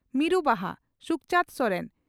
ᱢᱤᱨᱩ ᱵᱟᱦᱟ (ᱥᱩᱠᱪᱟᱱᱫᱽ ᱥᱚᱨᱮᱱ)